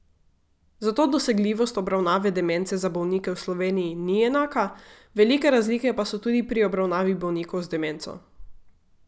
Zato dosegljivost obravnave demence za bolnike v Sloveniji ni enaka, velike razlike pa so tudi pri obravnavi bolnikov z demenco.